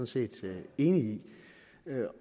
set enig i